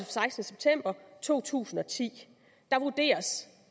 sekstende september to tusind og ti der vurderes